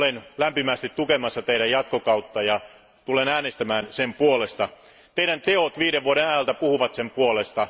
Olen lämpimästi tukemassa teidän jatkokauttanne ja tulen äänestämään sen puolesta. Teidän tekonne viiden vuoden ajalta puhuvat sen puolesta.